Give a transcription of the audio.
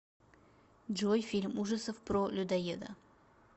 джой фильм ужасов про людоеда